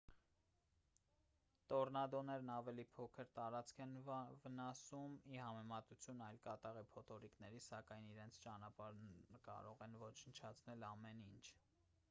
տորնադոներն ավելի փոքր տարածք են վնասում ի համեմատություն այլ կատաղի փոթորիկների սակայն իրենց ճանապարհին կարող են ոչնչացնել ամեն ինչ